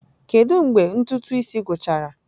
Kedu mgbe ntụtụ isi gwụchara?